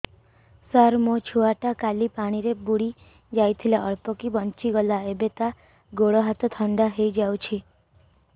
ସାର ମୋ ଛୁଆ ଟା କାଲି ପାଣି ରେ ବୁଡି ଯାଇଥିଲା ଅଳ୍ପ କି ବଞ୍ଚି ଗଲା ଏବେ ତା ଗୋଡ଼ ହାତ ଥଣ୍ଡା ହେଇଯାଉଛି